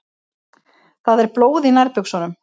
Það er blóð í nærbuxunum.